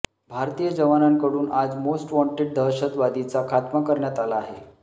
भारतीय जवानांकडून आज मोस्ट वॉन्टेड दहशदवादीचा खात्मा करण्यात आला आहे